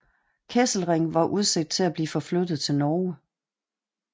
Kesselring var udset til at blive forflyttet til Norge